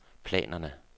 planerne